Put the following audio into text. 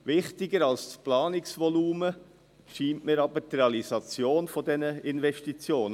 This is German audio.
Wichtiger als das Planungsvolumen scheint mir aber die Realisierung dieser Investitionen.